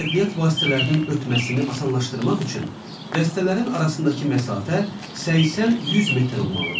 Nəqliyyat vasitələrinin ötməsini asanlaşdırmaq üçün dəstələrin arasındakı məsafə 80-100 metr olmalıdır.